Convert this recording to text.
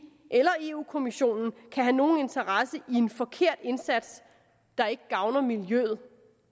eller europa kommissionen kan have nogen interesse i en forkert indsats der ikke gavner miljøet